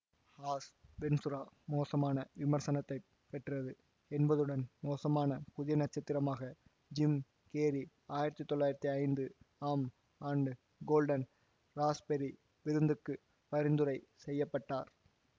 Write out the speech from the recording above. as Ventura மோசமான விமர்சனத்தைப் பெற்றது என்பதுடன் மோசமான புதிய நட்சத்திரமாக ஜிம் கேரி ஆயிரத்தி தொள்ளாயிரத்தி ஐந்து ஆம் ஆண்டு கோல்டன் ராஸ்ப்பெர்ரி விருந்துக்கு பரிந்துரை செய்ய பட்டார்